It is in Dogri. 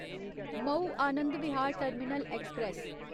Maui Anand Vihar Terminal express